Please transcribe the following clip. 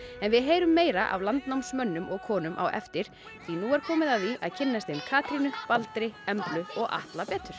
en við heyrum meira af landnáms mönnum og konum á eftir því nú er komið að því að kynnast þeim Katrínu Baldri Emblu og Atla betur